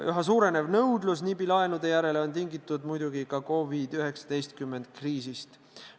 Üha suurenev nõudlus NIB-i laenude järele on tingitud muidugi ka COVID-19 kriisist.